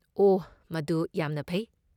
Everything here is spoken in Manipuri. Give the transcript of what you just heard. ꯑꯣꯍ ꯃꯗꯨ ꯌꯥꯝꯅ ꯐꯩ꯫